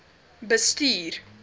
bestuur